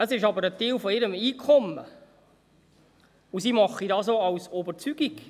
Es ist aber ein Teil ihres Einkommens, und sie machen dies auch aus Überzeugung.